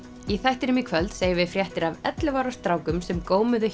í þættinum í kvöld segjum við fréttir af ellefu ára strákum sem